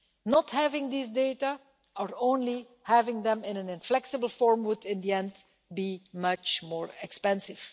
Not having these data, or having them only in an inflexible form, would in the end be much more expensive.